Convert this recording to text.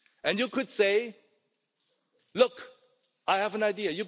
You could say, look, I have an idea.